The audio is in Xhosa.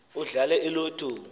udlale i lotto